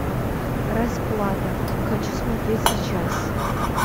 расплата хочу смотреть сейчас